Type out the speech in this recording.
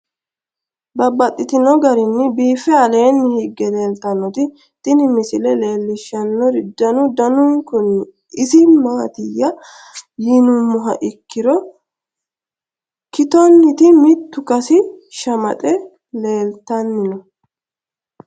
Babaxxittinno garinni biiffe aleenni hige leelittannotti tinni misile lelishshanori danu danunkunni isi maattiya yinummoha ikkiro kittonitti mittu Kasi shamaxxe leelittanni noo.